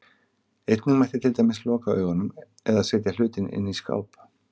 Einnig mætti til dæmis loka augunum, eða setja hlutinn inn í skáp.